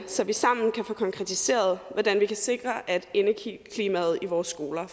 så vi sammen kan få konkretiseret hvordan vi kan sikre at indeklimaet i vores skoler